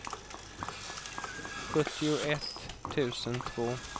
sjuttioett tusen två